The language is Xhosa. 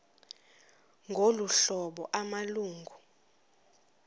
ngolu hlobo amalungu